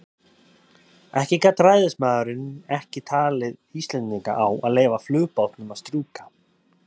En gat ræðismaðurinn ekki talið Íslendinga á að leyfa flugbátnum að strjúka?